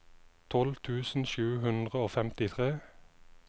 tolv tusen sju hundre og femtitre